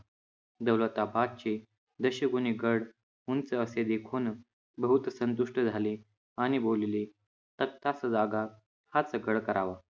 दौलताबाद चे जसे कोणी गड उंच असे देखून बहुत संतुष्ट झाले आणि बोलले, तख्तास जागा, हाच गड करावा